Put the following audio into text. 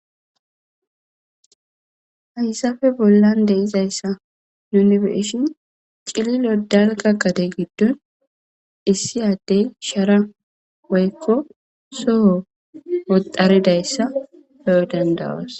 Hayssafe bollan deizayssa nuni beishin cililo dalga qade giddon issiyaddey shara woykko soho woxxaridayssa bewo dandawas.